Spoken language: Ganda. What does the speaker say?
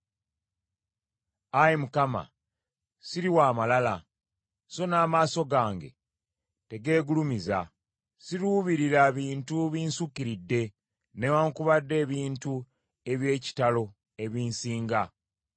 Ayi Mukama siri wa malala, so n’amaaso gange tegeegulumiza. Siruubirira bintu binsukiridde newaakubadde ebintu eby’ekitalo ebinsinga.